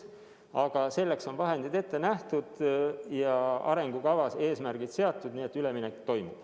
Aga selleks on vahendid ette nähtud ja arengukavas eesmärgid seatud, nii et üleminek toimub.